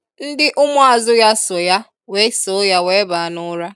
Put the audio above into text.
Ndi umuazu ya so ya wee so ya wee baa n'ura.